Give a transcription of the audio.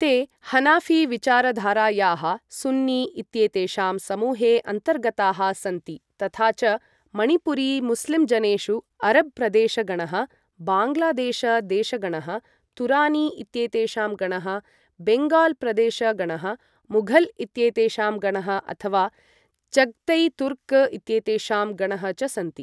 ते हनाफी विचार धारायाः सुन्नी इत्येतेषां समूहे अन्तर्गताः सन्ति तथा च मणिपुरी मुस्लिं जनेषु अरब् प्रदेश गणः, बाङ्ग्लादेश् देश गणः, तुरानी इत्येतेषां गणः, बेङ्गाल् प्रदेश गणः, मुघल् इत्येतेषां गणः अथवा चग्तै तुर्क् इत्येतेषां गणः च सन्ति।